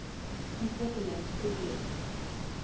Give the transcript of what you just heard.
ontwikkelingsprojek